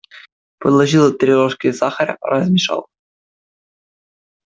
положил три ложки сахара размешал